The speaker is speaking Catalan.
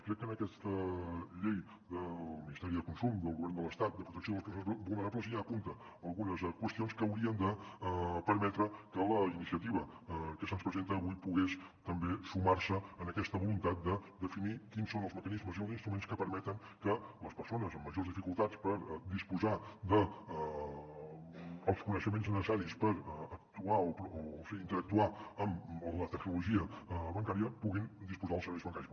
crec que aquesta llei del ministeri de consum del govern de l’estat de protecció de les persones vulnerables ja apunta algunes qües·tions que haurien de permetre que la iniciativa que se’ns presenta avui pogués també sumar·se a aquesta voluntat de definir quins són els mecanismes i els instruments que permeten que les persones amb majors dificultats per disposar dels coneixe·ments necessaris per actuar o sigui interactuar amb la tecnologia bancària puguin disposar dels serveis bancaris